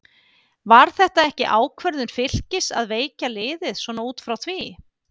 Var þetta ekki ákvörðun Fylkis að veikja liðið svona út frá því?